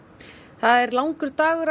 það er langur dagur að